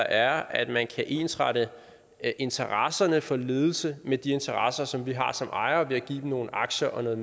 er at man kan ensrette interesserne for ledelse med de interesser som vi har som ejere ved at give dem nogle aktier og noget